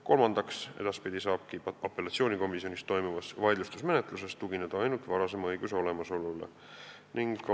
Kolmandaks, edaspidi saab apellatsioonikomisjonis toimuvas vaidlustusmenetluses tugineda ainult varasema õiguse olemasolule.